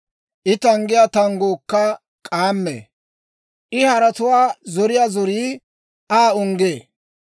I tanggiyaa tangguukka k'aammee; I haratuwaa zoriyaa zorii Aa unggee.